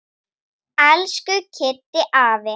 Elsku Kiddi afi.